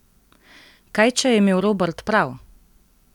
Kaj, če je imel Robert prav?